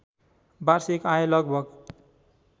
वार्षिक आय लगभग